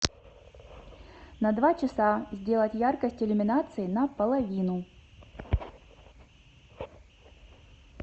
на два часа сделать яркость иллюминации на половину